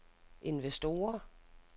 investorer